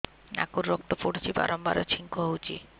ନାକରୁ ରକ୍ତ ପଡୁଛି ବାରମ୍ବାର ଛିଙ୍କ ହଉଚି